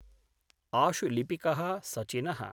आशुलिपिक: Sachin: